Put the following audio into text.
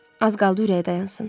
Az qaldı ürəyi dayansın.